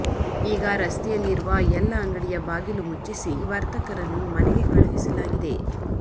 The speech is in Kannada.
ಈಗ ರಸ್ತೆಯಲ್ಲಿ ಇರುವ ಎಲ್ಲ ಅಂಗಡಿಯ ಬಾಗಿಲು ಮುಚ್ಚಿಸಿ ವರ್ತಕರನ್ನು ಮನೆಗೆ ಕಳುಹಿಸಲಾಗಿದೆ